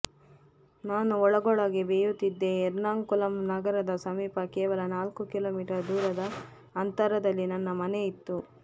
ನಾನು ಒಳಗೊಳಗೆ ಬೇಯುತ್ತಿದ್ದೆ ಎರ್ನಾಕುಲಂ ನಗರದ ಸಮೀಪ ಕೇವಲ ನಾಲ್ಕು ಕಿಲೋಮೀಟರ್ ದೂರದ ಅಂತರದಲ್ಲಿ ನನ್ನ ಮನೆಯಿತ್ತು